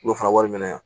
U bɛ fara wari minɛ yan